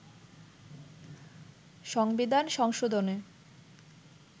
সংবিধান সংশোধনে